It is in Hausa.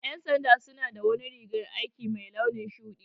Ƴan sanda suna da wani rigan aiki mai launin shuɗi